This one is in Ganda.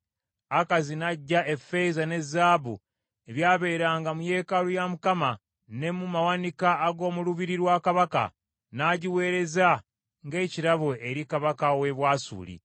Akazi n’aggya effeeza ne zaabu ebyabeeranga mu yeekaalu ya Mukama , ne mu mawanika ag’omu lubiri lwa kabaka, n’agiweereza ng’ekirabo eri kabaka w’e Bwasuli.